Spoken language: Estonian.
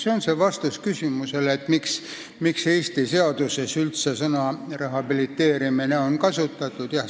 See on vastus küsimusele, miks Eesti seaduses üldse sõna "rehabiliteerimine" on kasutatud.